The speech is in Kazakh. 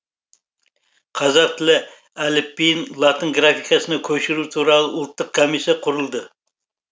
қазақ тілі әліпбиін латын графикасына көшіру туралы ұлттық комиссия құрылды